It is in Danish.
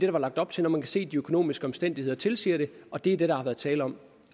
var lagt op til når man kan se de økonomiske omstændigheder tilsiger det og det er det der har været tale om